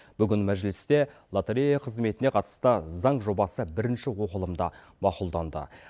бүгін мәжілісте лотерея қызметіне қатысты заң жобасы бірінші оқылымда мақұлданды